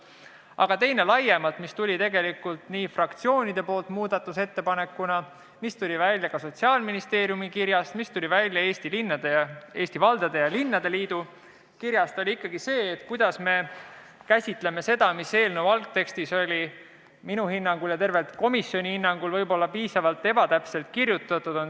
Aga teine ettepanek, mis tuli tegelikult fraktsioonidelt muudatusettepanekuna ja mis tuli välja ka Sotsiaalministeeriumi ning Eesti Linnade ja Valdade Liidu kirjast, oli see, kuidas me käsitleme seda, mis eelnõu algtekstis oli minu ja terve komisjoni hinnangul võib-olla üsna ebatäpselt kirjutatud.